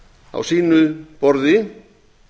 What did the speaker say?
á sínu borði